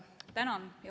Tänan!